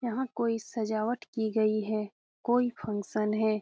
यहाँ कोई सजावट की गई है कोई फंक्शन है।